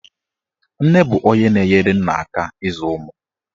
Nne bụ onye na-enyere nna aka ịzụ ụmụ.